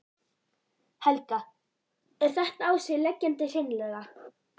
Helga: Er þetta á sig leggjandi hreinlega?